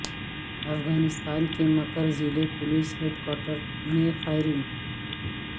افغانستان کے مکر ضلع پولیس ہیڈ کواٹر میں فائرنگ